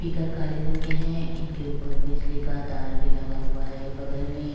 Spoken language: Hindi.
स्पीकर काले रंग के हैं। इनके ऊपर बिजली का तार भी लगा हुआ है बगल में।